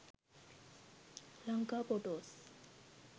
lanka photos